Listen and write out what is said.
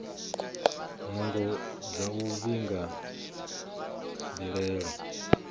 nungo dza u vhiga mbilaelo